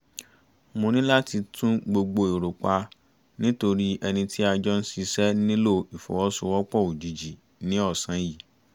mo ní láti tún gbogbo èrò pa nítorí ẹni tí a jọ ń ṣiṣẹ́ nílò ìfọwọ́sowọ́pọ̀ òjijì ní ọ̀sán yìí